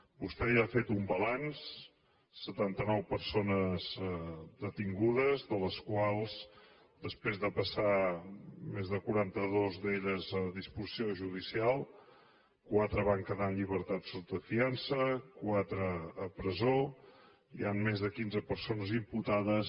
vostè ja ha fet un balanç setanta nou persones detingudes de les quals després de passar ne més de quaranta dos a disposició judicial quatre van quedar en llibertat sota fiança quatre a la presó i hi han més de quinze persones imputades